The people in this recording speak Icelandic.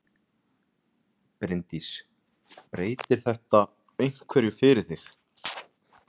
Bryndís: Breytir þetta einhverju fyrir þig?